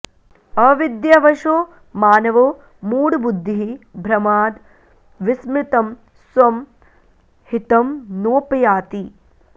अविद्यावशो मानवो मूढबुद्धिः भ्रमाद् विस्मृतं स्वं हितं नोपयाति